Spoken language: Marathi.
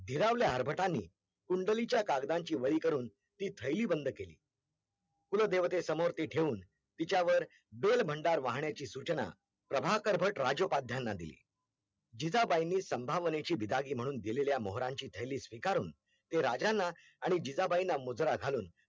कुलदेवते समोर ते ठेवून तिच्यावर बेल भंडार वहानाची सूचना परभाकर बट राज्योपद्याना दिली जिजाबाईंनी संभावनेची बिदागी म्हणून दिलेल्या मोहरांची थैली स्वीकारून ते राज्यांना आणि जिजाबाईंना मुजरा घालून